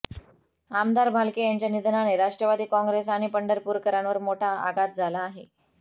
आमदार भालके यांच्या निधनाने राष्ट्रवादी काँग्रेस आणि पंढरपूरकरांवर मोठा आघात झाला आहे